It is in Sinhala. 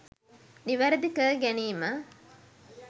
නිවැරදි කර ගැනීම